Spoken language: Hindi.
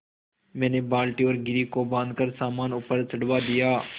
मैंने बाल्टी और घिर्री को बाँधकर सामान ऊपर चढ़वा दिया